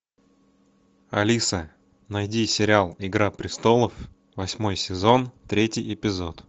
алиса найди сериал игра престолов восьмой сезон третий эпизод